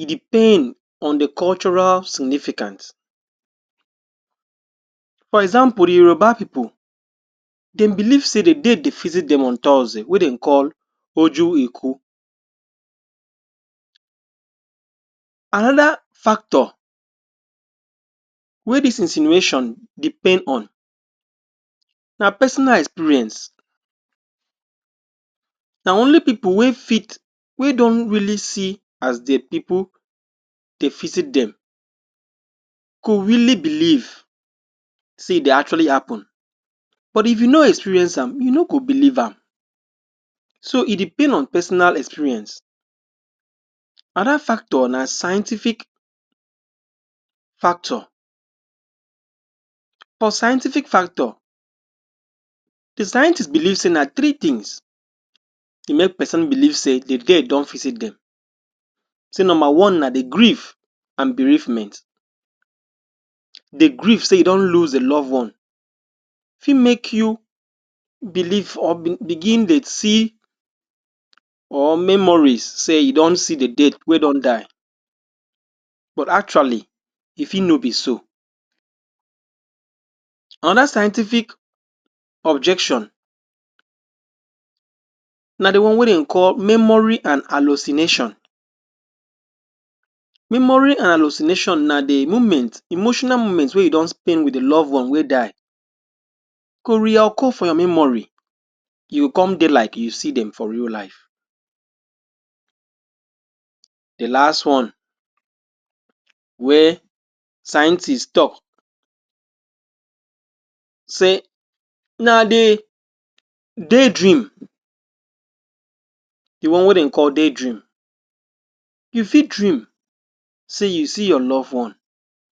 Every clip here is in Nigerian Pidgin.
e depend on the cultural significance, for example Di Yoruba pipo dem believe say Di dead dey visit dem on Thursday wey dem call Ojo'eku. Anoda factor wey dis insinuations depend on na personal experience. Na only pipo wey fit, wey don really see as dia pipo dey visit dem go really believe say e dey actually happun but if you no experience am you no go believe am. So e depend on personal experience. Anoda factor na scientific factor. For scientific factor di scientists believe say na three tins dey make person believe say di dead don visit dem. Say number One na di grief and bereavement. Di grief say you don lose your loved one fi make you believe or begin dey see or memories say you don see Di dead wey don die, but actually e fi no bi so. Anoda scientific objection, na Di one wey dem dey call memory and hallucinations. Memory and hallucinations na di moment, emotional moments wey you don spend wit di loved one wey die go reoccur for your memory e go come dey like you see dem for real life. Di last one, wey scientists tok say na di daydream, di one wey dem call day dream. You fi dream say you see your loved one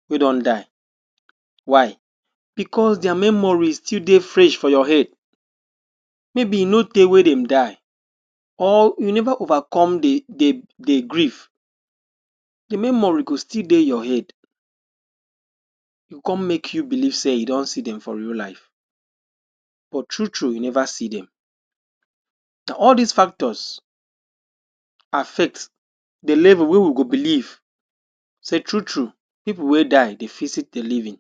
wey don die, why? Bicos dia memories still dey fresh for your head maybe e no tey wey dem die, or you never overcome di di grief, de memory go still dey your head, go come make you believe say you don see dem for real life, but true true, you never see dem. Na all dis factors affect di level wey we go believe say true true pipo wey die dey visit di living